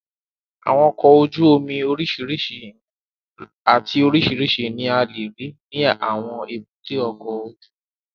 Àwọn ọkọ̀ ojú omi oríṣiríṣi ìwọ̀n àti oríṣiríṣi ní a lè rí ní àwọn èbúté ọkọ̀ ojú omi